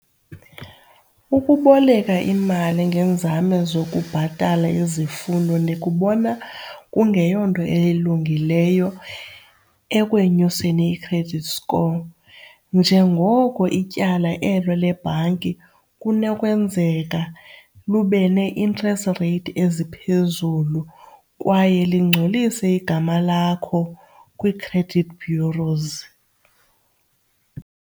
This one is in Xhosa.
Ukuboleka imali ngeenzame zokubhatala izifuno ndikubona kungeyonto elungileyo ekwenyuseni i-credit score njengoko itye ityala elo lebhanki kunokwenzeka lube ne-interest rate eziphezulu kwaye lingcolise igama lakho kwii-credit bureaus.